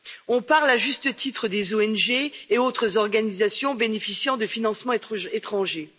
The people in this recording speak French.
On parle à juste titre des ONG et autres organisations bénéficiant de financements étrangers.